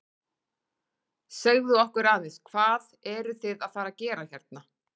Segðu okkur aðeins, hvað eruð þið að fara að gera hérna?